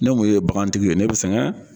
Ne mun ye bagantigi ye ne bɛ sɛgɛn.